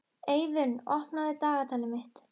Eiðunn, opnaðu dagatalið mitt.